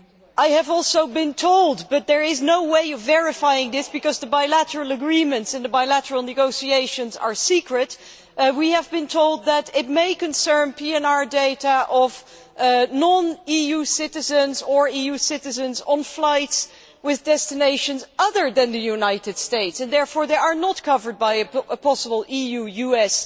I have also been told but there is no way of verifying this because the bilateral agreements and the bilateral negotiations are secret that it may concern PNR data of non EU citizens or EU citizens on flights with destinations other than the United States, and therefore, they are not covered by a possible EU US